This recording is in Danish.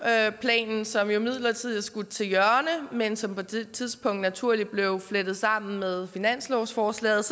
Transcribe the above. planen som jo midlertidig er skudt til hjørne men som på det tidspunkt naturligt blev flettet sammen med finanslovsforslaget